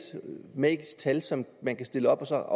magisk tal som man kan stille op og så er